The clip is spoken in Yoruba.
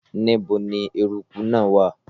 Níbo ni eruku náà wà?